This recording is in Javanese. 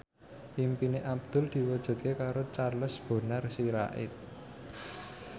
impine Abdul diwujudke karo Charles Bonar Sirait